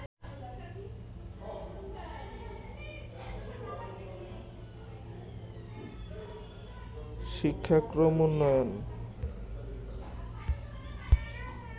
শিক্ষাক্রম উন্নয়ন